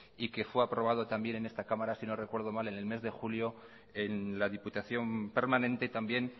y que fue aprobado también en esta cámara si no recuerdo mal en el mes de julio en la diputación permanente también